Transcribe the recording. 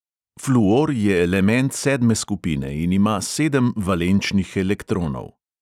Fluor je element sedme skupine in ima sedem valenčnih elektronov.